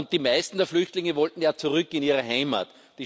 Die meisten der Flüchtlinge wollten ja zurück in ihre Heimat.